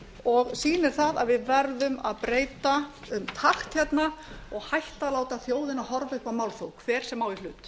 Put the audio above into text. og sýnir það að við verðum að breyta um takt hérna og hætta að láta þjóðina horfa upp